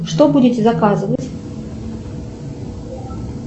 что будете заказывать